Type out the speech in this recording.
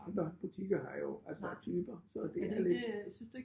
Andre butikker her jo altså typer så det er lidt